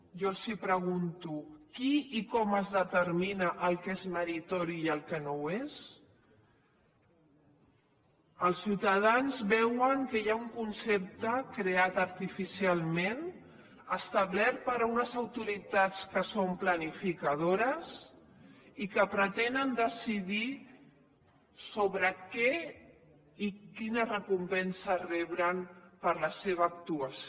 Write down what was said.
jo els pregunto qui i com es determina el que és meritori i el que no ho és els ciutadans veuen que hi ha un concepte creat artificialment establert per unes autoritats que són planificadores i que pretenen decidir sobre què i quina recompensa reben per la seva actuació